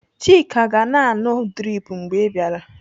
Chika ga-na anụ drip mgbe ị bịara.